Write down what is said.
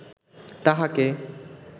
তাঁহাকে